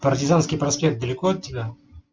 партизанский проспект далеко от тебя